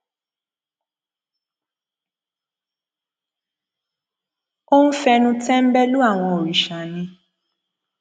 ó ń fẹnu tẹńbẹlú àwọn òrìṣà ni